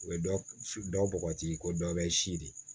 U bɛ dɔ bɔgɔti ko dɔ bɛ sidi